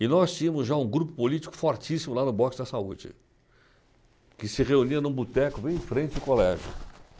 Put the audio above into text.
E nós tínhamos já um grupo político fortíssimo lá no Boxa da Saúde, que se reunia num boteco bem em frente o colégio.